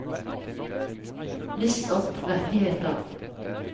list opp rettigheter